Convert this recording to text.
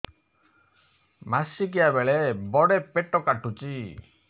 ମାସିକିଆ ବେଳେ ବଡେ ପେଟ କାଟୁଚି